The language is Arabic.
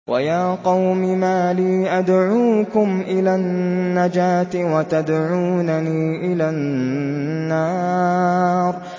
۞ وَيَا قَوْمِ مَا لِي أَدْعُوكُمْ إِلَى النَّجَاةِ وَتَدْعُونَنِي إِلَى النَّارِ